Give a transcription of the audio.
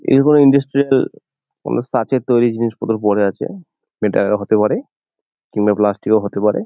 এরকম ইন্ডাস্ট্রিয়াল কোন সাচের তৈরি জিনিসপত্র পড়ে আছে এটা হতে পারে কিংবা প্লাস্টিক -ও হতে পারে।